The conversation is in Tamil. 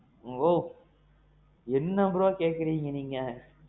bro. என்ன bro கேக்குறீங்க நீங்க?